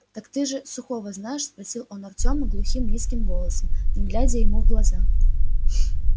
так ты что же сухого знаешь спросил он артёма глухим низким голосом не глядя ему в глаза